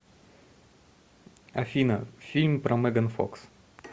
афина фильм про меган фокс